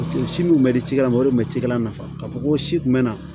si dun bɛ di cikɛla ma o de tun bɛ cikɛla nafa ka fɔ ko si kun bɛ na